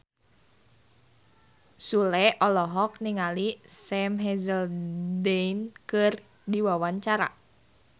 Sule olohok ningali Sam Hazeldine keur diwawancara